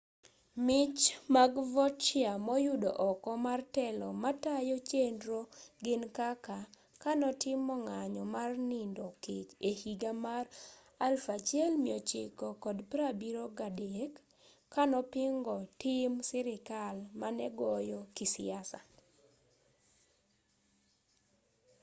mich mag vautier moyudo oko mar telo matayo chenro gin kaka kanotimo ng'anyo mar nindo kech ehiga mar 1973 kanopingo tim sirkal manegoye kisiasa